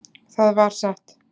Það var satt.